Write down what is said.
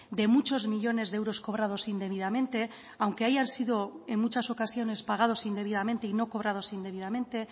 de muchos millónes de euros cobrados indebidamente aunque hayan sido en muchas ocasiones pagados indebidamente y no cobrados indebidamente